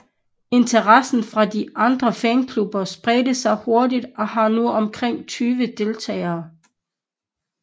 Interessen fra de andre fanklubber spredte sig hurtigt og har nu omkring 20 deltagere